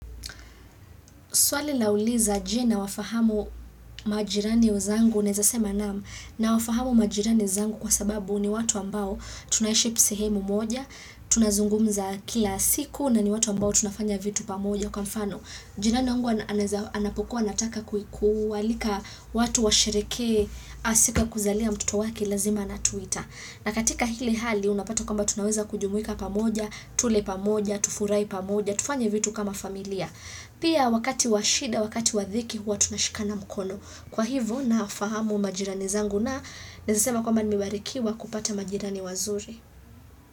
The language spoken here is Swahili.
Swali lauliza je, nawafahamu majirani zangu, naweza sema naam, nawafahamu majirani zangu kwa sababu ni watu ambao tunaisha sehemu moja, tunazungumza kila siku na ni watu ambao tunafanya vitu pamoja, kwa mfano. Jirani wangu anapokuwa anataka kualika watu washereheke siku ya kuzalia mtoto wake lazima anatuita. Na katika hili hali, unapato kamba tunaweza kujumuika pamoja, tule pamoja, tufurahi pamoja, tufanye vitu kama familia. Pia wakati wa shida, wakati wa dhiki huwa tunashikana mkono. Kwa hivyo nafahamu majirani zangu na nawezasema kwamba nimebarikiwa kupata majirani wazuri.